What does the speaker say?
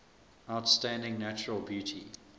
outstanding natural beauty